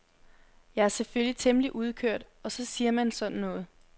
Jeg er selvfølgelig temmelig udkørt og så siger man sådan noget.